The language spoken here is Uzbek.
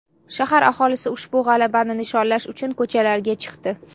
Shahar aholisi ushbu g‘alabani nishonlash uchun ko‘chalarga chiqdi .